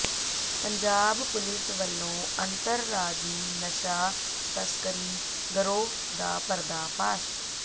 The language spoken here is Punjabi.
ਪੰਜਾਬ ਪੁਲਿਸ ਵਲੋਂ ਅੰਤਰਰਾਜੀ ਨਸ਼ਾ ਤਸਕਰੀ ਗਰੋਹ ਦਾ ਪਰਦਾਫ਼ਾਸ਼